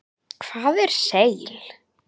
Hvað er seil?